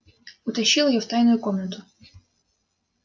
да только и вымолвил рон